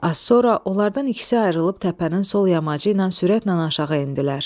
Az sonra onlardan ikisi ayrılıb təpənin sol yamacı ilə sürətlə aşağı endilər.